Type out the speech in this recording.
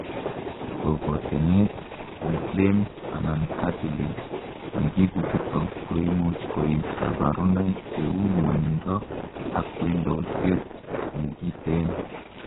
kokotenet, inflamed anan cartilage nekibutok koimuch koib kaborunoik cheu ngwonindo ak wendotet negiten